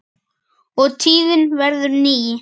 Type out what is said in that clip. og tíðin verður ný.